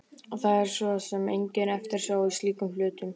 Það er svo sem engin eftirsjá í slíkum hlutum.